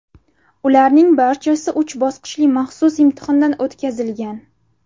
Ularning barchasi uch bosqichli maxsus imtihondan o‘tkazilgan.